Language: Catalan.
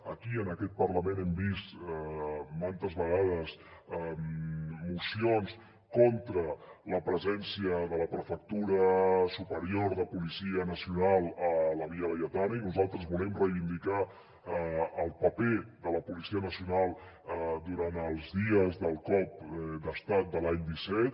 aquí en aquest parlament hem vist manta vegades mocions contra la presència de la prefectura superior de policia nacional a la via laietana i nosaltres volem reivindicar el paper de la policia nacional durant els dies del cop d’estat de l’any disset